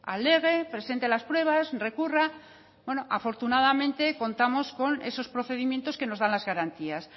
alegue presente las pruebas recurra bueno afortunadamente contamos con esos procedimientos que nos dan las garantías